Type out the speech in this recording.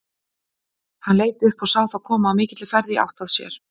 Hann leit upp og sá þá koma á mikilli ferð í átt að sér.